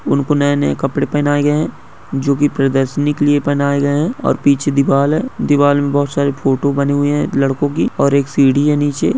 उनको नए- नए कपड़े पहनाए गए हैं जो कि प्रदर्शनी के लिए पहनाए गए हैं और पीछे दीवाल है। दीवाल में बहोत सारे फोटो बने हुए हैं लड़कों की और एक सीढ़ी है नीचे।